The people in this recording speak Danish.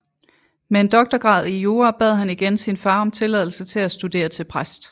Med en doktorgrad i jura bad han igen sin far om tilladelse til at studere til præst